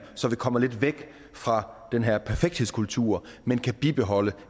så vi kommer lidt væk fra den her perfekthedskultur men kan bibeholde